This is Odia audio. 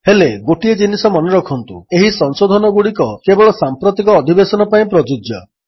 ହେଲେ ଗୋଟିଏ ଜିନିଷ ମନେରଖନ୍ତୁ ଏହି ସଂଶୋଧନଗୁଡ଼ିକ କେବଳ ସାମ୍ପ୍ରତିକ ଅଧିବେଶନ ପାଇଁ ପ୍ରଯୁଜ୍ୟ